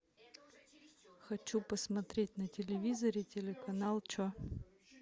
хочу посмотреть на телевизоре телеканал че